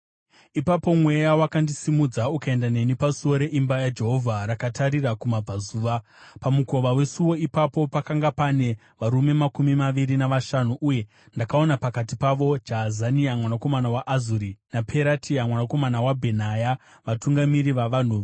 Ipapo Mweya wakandisimudza ukaenda neni pasuo reimba yaJehovha rakatarira kumabvazuva. Pamukova wesuo ipapo, pakanga pane varume makumi maviri navashanu, uye ndakaona pakati pavo Jaazania mwanakomana waAzuri naPeratia mwanakomana waBhenaya, vatungamiri vavanhu.